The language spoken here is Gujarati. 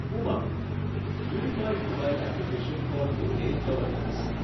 Umang unified mobile application for new age governance